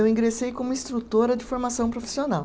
Eu ingressei como instrutora de formação profissional.